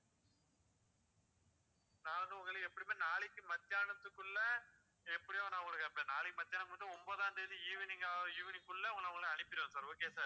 நானும் உங்கள எப்பவுமே நாளைக்கு மத்தியானத்துக்குள்ள எப்படியும் நான் உங்களுக்கு இருப்பேன் நாளைக்கு மத்தியானம் மட்டும் ஒன்பதாம் தேதி evening ஆஹ் evening க்குள்ள நான் உங்களுக்கு அனுப்பிடறேன் sir okay யா sir